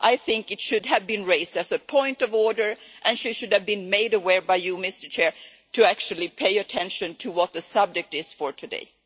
I think it should have been raised as a point of order, and he should have been made aware by you, Mr President, to actually pay attention to what the subject is for today.